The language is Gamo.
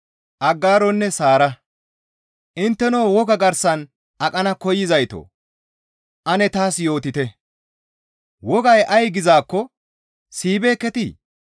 Intteno Woga garsan aqana koyzayto ane taas yootite; wogay ay gizaakko siyibeekketii?